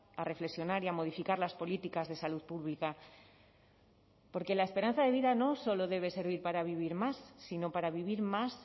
a reflexionar y a modificar las políticas de salud pública porque la esperanza de vida no solo debe servir para vivir más sino para vivir más